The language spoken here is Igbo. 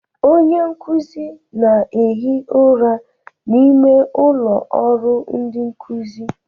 Onye nkuzi na-ehi ụra n'ime ụlọ ọrụ ndi nkuzi.